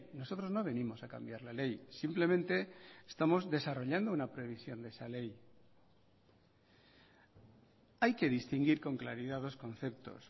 nosotros no venimos a cambiar la ley simplemente estamos desarrollando una previsión de esa ley hay que distinguir con claridad dos conceptos